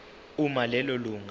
uma lelo lunga